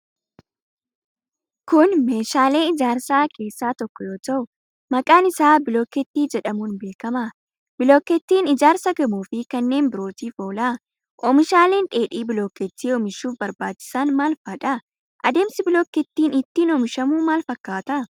Kun, meeshaalee ijaarsaa keessaa tokko yoo ta'u, maqaan isaa bolokkeettii jedhamuun beekama. Bolokkeettiin ijaarsa gamoo fi kanneen birootiif oola. Oomishaaleen dheedhii bolokkeettii oomishuuf barbaachisan maal faa dha. Adeemsi bolokkeettiin ittiin oomishamu maal fakkaata?